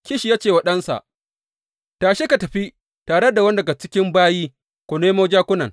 Kish ya ce wa ɗansa, Tashi ka tafi tare da wani daga cikin bayi, ku nemo jakunan.